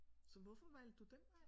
Så hvorfor valgte du den vej?